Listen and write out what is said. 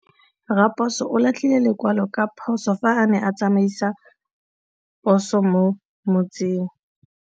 Raposo o latlhie lekwalô ka phosô fa a ne a tsamaisa poso mo motseng.